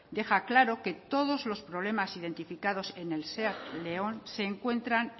deja claro que todos los problemas identificados en el seat león se encuentran